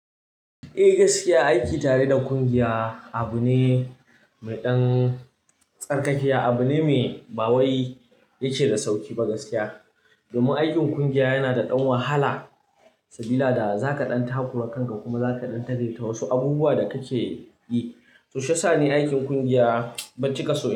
Eh gaskiya, aiki tare da ƙungiya abu ne mai ɗan tsarkakiya, abu ne mai ɓawai yake da sauki ba gaskiya. Domin aikin ƙungiya yana da ɗan wahala sabila daza ka ɗan takura kanka kuma za ka ɗan tagelle wasu abubuwa da ka ke yi. To shiyasa ne aikin ƙungiya bancika son.